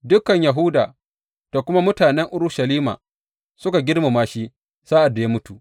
Dukan Yahuda da kuma mutanen Urushalima suka girmama shi sa’ad da ya mutu.